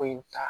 Foyi in ta